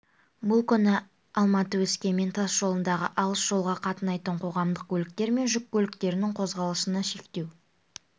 бұл күні алматы өскемен тас жолындағы алыс жолға қатынайтын қоғамдық көліктер мен жүк көліктерінің қозғалысына шектеу